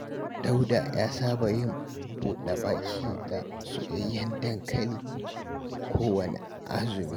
Dauda ya saba yin buɗa-baki da soyayyen dankali kowanne azumi